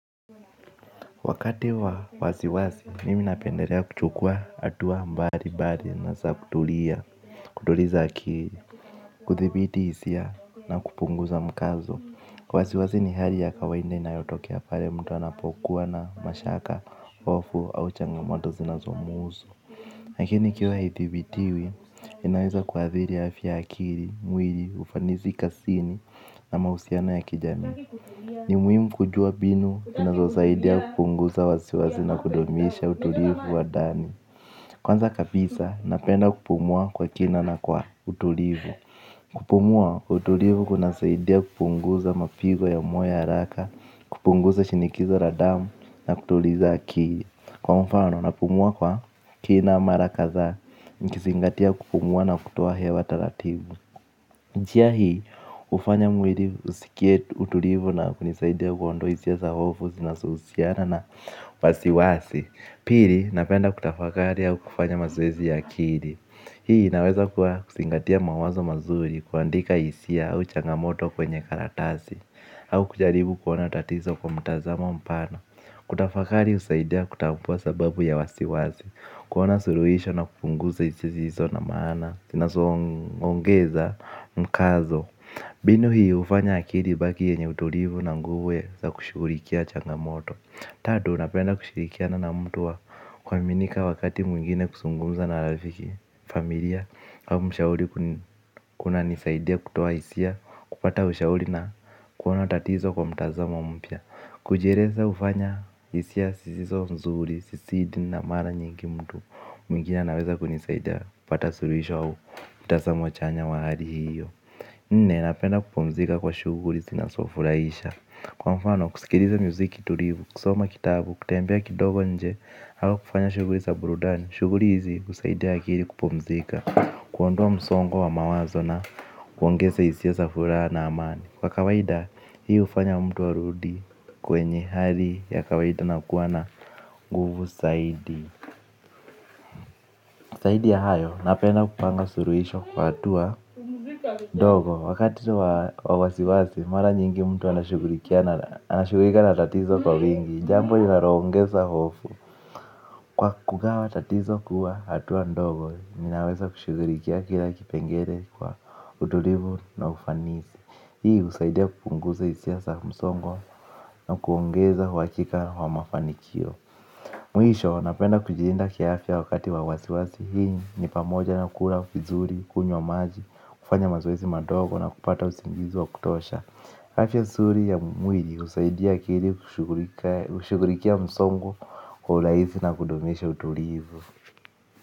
Wakati wa wasiwasi, mimi napendelea kuchukua hatua mbalimbali na za kutulia kutuliza akili kuthibiti hisia na kupunguza mkazo wasiwasi ni hali ya kawaida inayotokea pale mtu anapokuwa na mashaka hofu au changamoto zinazomhusu lakini ikiwa haidhibitiwi, inaweza kuathiri afya ya akili, mwili, ufanisi kazini na mahusiano ya kijamii. Ni muhimu kujua mbinu unazosaidia kupunguza wasiwasi na kudumisha utulivu wa ndani. Kwanza kabisa, napenda kupumua kwa kina na kwa utulivu. Kupumua, utulivu kunasaidia kupunguza mapigo ya moyo haraka, kupunguza shinikizo la damu na kutuliza akili. Kwa mfano, napumua kwa kina mara kadhaa, nikizingatia kupumua na kutoa hewa taratibu. Njia hii, hufanya mwili usikie utulivu na kunisaidia kuondoa hisia za hofu, zinazohusiana na wasiwasi. Pili, napenda kutafakari au kufanya mazoezi akili. Hii, inaweza kuwa kuzingatia mawazo mazuri, kuandika hisia au changamoto kwenye karatasi. Au kujaribu kuona tatizo kwa mtazamo mpana kutafakari husaidia kutambua sababu ya wasiwasi. Kuona suluhisho na kupunguza hisia zisizo na maana zinazoongeza mkazo mbinu hii hufanya akili ibaki yenye utulivu na nguvu za kushughulikia changamoto. Tatu napenda kushirikiana na mtu wa kuaminika wakati mwingine kuzungumza na rafiki familia au mshauri kunanisaidia kutoa hisia kupata ushauri na kuona tatizo kwa mtazamo mpya. Kujieleza hufanya hisia zisizo nzuri, zisizidi na mara nyingi mtu mwingine anaweza kunisaidia kupata suluhisho au, mitazamo wa chanya wa hali hiyo. Nne, napenda kupumzika kwa shughuli zinazofurahisha. Kwa mfano, kusikiliza muziki tulivu, kusoma kitabu, kutembea kidogo nje au kufanya shughuli za burudani, shughuli hizi husaidia akili kupumzika. Kuondoa msongo wa mawazo na kuongeza hisia za furaha na amani kwa kawaida, hii hufanya mtu arudi kwenye hali ya kawaida na kuwa na nguvu zaidi zaidi ya hayo, napenda kupanga suluhisho kwa hatua ndogo, wakati wa wasiwasi, mara nyingi mtu anashughulika na tatizo kwa wingi, jambo linaloongeza hofu. Kwa kugawa tatizo kuwa hatua ndogo, ninaweza kushughulikia kila kipengele kwa utulivu na ufanisi. Hii husaidia kupunguza hisia za msongo na kuongeza uhakika wa mafanikio. Mwisho, napenda kujilinda kiafya wakati wa wasiwasi hii ni, ni pamoja na kula vizuri, kunywa maji, kufanya mazoezi madogo na kupata usingizi wa kutosha. Afya nzuri ya mwili husaidia akili kushughulikia msongo kwa urahisi na kudumisha utulivu.